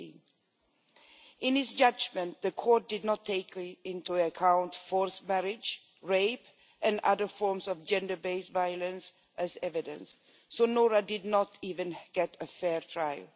16. In its judgment, the court did not take into account forced marriage, rape and other forms of gender based violence as evidence, so Noura did not even get a fair trial.